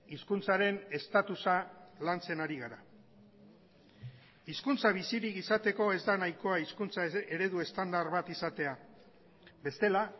hizkuntzaren estatusa lantzen ari gara hizkuntza bizirik izateko ez da nahikoa hizkuntza eredu estandar bat izatea bestela